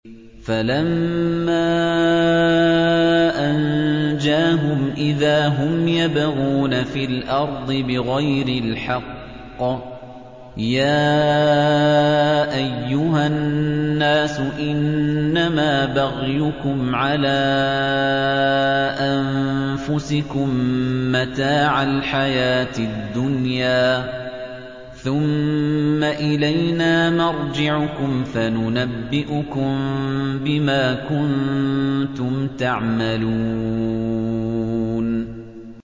فَلَمَّا أَنجَاهُمْ إِذَا هُمْ يَبْغُونَ فِي الْأَرْضِ بِغَيْرِ الْحَقِّ ۗ يَا أَيُّهَا النَّاسُ إِنَّمَا بَغْيُكُمْ عَلَىٰ أَنفُسِكُم ۖ مَّتَاعَ الْحَيَاةِ الدُّنْيَا ۖ ثُمَّ إِلَيْنَا مَرْجِعُكُمْ فَنُنَبِّئُكُم بِمَا كُنتُمْ تَعْمَلُونَ